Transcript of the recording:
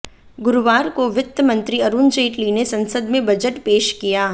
गुरुवार को वित्त मंत्री अरुण जेटली ने संसद में बजट पेश किया